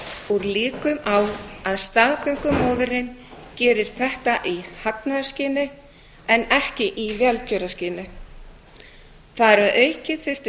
úr líkum á að staðgöngumóðirin geri þetta í hagnaðarskyni en ekki í velgjörðarskyni þar að auki þyrfti